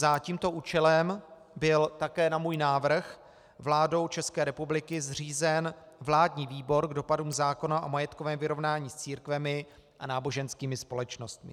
Za tímto účelem byl také na můj návrh vládou České republiky zřízen vládní výbor k dopadům zákona o majetkovém vyrovnání s církvemi a náboženskými společnostmi.